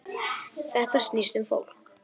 Þetta snýst um fólk